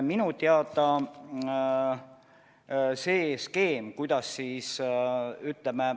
Minu teada on see skeem, kuidas siis, ütleme ...